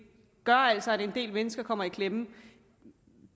gør altså at en del mennesker kommer i klemme